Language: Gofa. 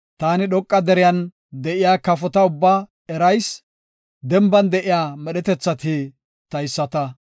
Taani dhoqa deriyan de7iya kafota ubbaa erayis; denban de7iya medhetethati tayisata.